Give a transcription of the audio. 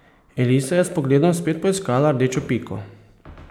Elisa je s pogledom spet poiskala rdečo piko.